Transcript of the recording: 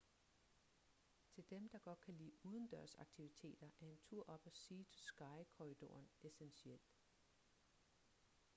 til dem der godt kan lide udendørsaktiviteter er en tur op ad sea to sky-korridoren essentiel